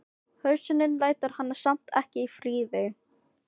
Hugsunin lætur hana samt ekki í friði.